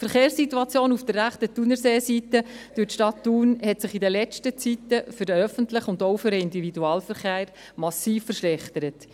Die Verkehrssituation auf der rechten Thunerseeseite durch die Stadt Thun hat sich in den letzten Zeiten für den öffentlichen und auch für den Individualverkehr massiv verschlechtert.